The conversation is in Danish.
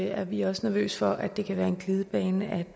er vi også nervøse for at det kan være en glidebane